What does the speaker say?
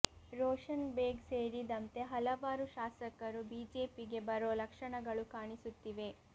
ರೋಷನ್ ಬೇಗ್ ಸೇರಿದಂತೆ ಹಲವಾರು ಶಾಸಕರು ಬಿಜೆಪಿಗೆ ಬರೋ ಲಕ್ಷಣಗಳು ಕಾಣಿಸುತ್ತಿವೆ